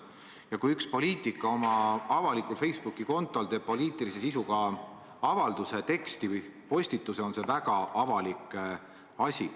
Ja kui üks poliitik oma avalikul Facebooki kontol teeb poliitilise sisuga avalduse, teksti või postituse, on see väga avalik asi.